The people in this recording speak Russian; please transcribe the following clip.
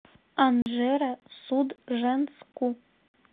анжеро судженску